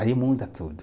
Aí muda tudo.